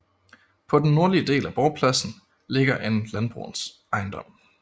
På den nordlige del af borgpladsen ligger en landbrugsejendom